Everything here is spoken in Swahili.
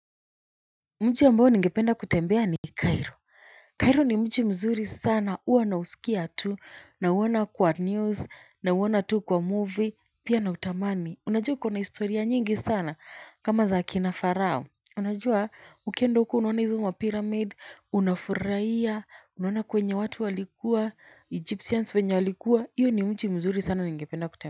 Mji ambao ningependa kutembea ni Cairo. Cairo ni mji mzuri sana huwa nausikia tu nauona kwa news, nauona tu kwa movie pia nautamani. Unajua iko na historia nyingi sana. Kama za akina Pharaoh. Unajua ukienda huko unaona hizo mapyramid, unafurahia, unaona kwenye watu walikuwa, egyptians venye walikuwa. Hiyo ni mji mzuri sana ningependa kutembea.